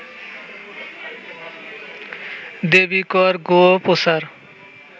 দেবি কর গো প্রচার